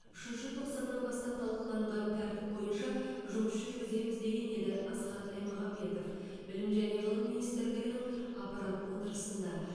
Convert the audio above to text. үшінші тоқсаннан бастап талқыланған тәртіп бойынша жұмыс жүргіземіз деген еді асхат аймағамбетов білім және ғылым министрлігінің аппарат отырысында